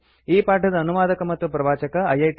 ಈ ಪಾಠದ ಅನುವಾದಕ ಮತ್ತು ಪ್ರವಾಚಕ ಐಐಟಿ